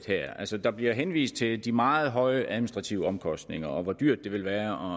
her altså der bliver henvist til de meget høje administrative omkostninger og til hvor dyrt det vil være